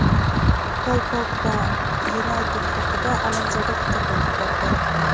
Pol Pogba "Yunayted" haqida alamzada fikr bildirdi;.